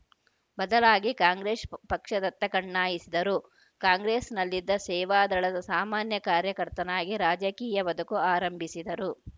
ಬದಲಾಗಿ ಕಾಂಗ್ರೆಸ್‌ ಪ್ ಪಕ್ಷದತ್ತ ಕಣ್ಣಾಯಿಸಿದರು ಕಾಂಗ್ರೆಸ್‌ನಲ್ಲಿದ್ದ ಸೇವಾ ದಳದ ಸಾಮಾನ್ಯ ಕಾರ್ಯಕರ್ತನಾಗಿ ರಾಜಕೀಯ ಬದುಕು ಆರಂಭಿಸಿದರು